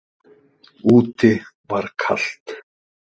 Úti var kalt.